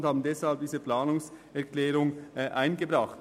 Deshalb haben wir die Planungserklärung 1 eingebracht.